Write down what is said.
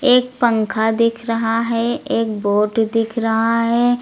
एक पंखा दिख रहा है एक बोर्ड दिख रहा है।